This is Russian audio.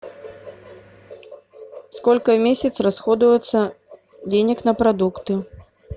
сколько в месяц расходуется денег на продукты